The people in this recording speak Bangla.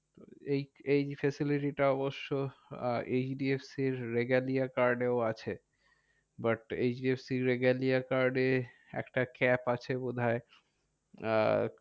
এই এই facility টা অবশ্য এইচ ডি এফ সি র regalia card এও আছে। but H D F C র regalia card এ একটা cap আছে বোধহয়। আহ